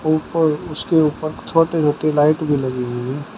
उसके ऊपर छोटे छोटे लाइट भी लगी हुई है।